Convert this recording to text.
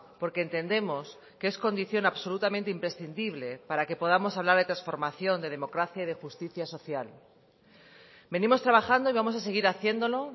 porque entendemos que es condición absolutamente imprescindible para que podamos hablar de transformación de democracia y de justicia social venimos trabajando y vamos a seguir haciéndolo